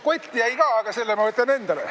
Kott jäi ka, aga selle ma jätan endale.